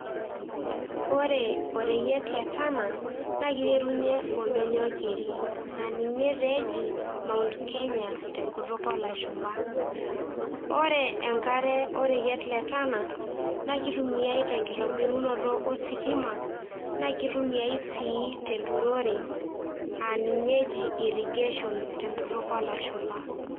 ore ereyiet le Tana naa kiterunyie oldonyio keri aa ninye tee eji mount Kenya tenkutuk oolashumba. ore enkare oreyiet le Tana naa kitumiay te nkitobirunoto ositima ,naa kitumiay sii te enturore aa ninye eji irrigation te nkutuk olashumba.